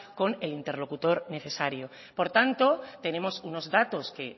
con el interlocutor necesario por tanto tenemos unos datos que